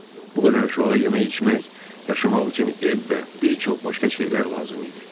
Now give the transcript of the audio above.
Bu qədər uşağa yemək içmək, yaşamaq üçün ev və bir çox başqa şeylər lazım idi.